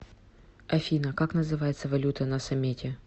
афина как называется валюта на самете